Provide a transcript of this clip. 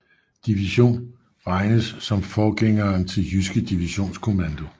Division regnes som forgængeren til Jyske Divisionskommando